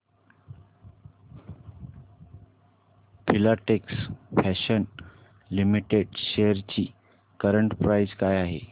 Filatex Fashions Limited shares ची current price काय आहे